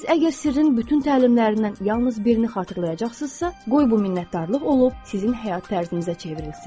Siz əgər Sirrin bütün təlimlərindən yalnız birini xatırlayacaqsınızsa, qoy bu minnətdarlıq olub sizin həyat tərzinizə çevrilsin.